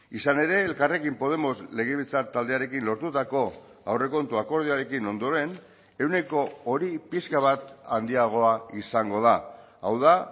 izan ere elkarrekin podemos legebiltzar taldearekin lortutako aurrekontu akordioarekin ondoren ehuneko hori pixka bat handiagoa izango da hau da